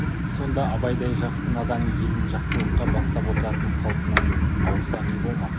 сонда абайдай жақсы надан елін жақсылыққа бастап отыратын қалпынан ауса не болмақ